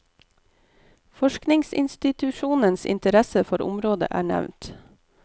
Forskningsinstitusjonenes interesse for området er nevnt.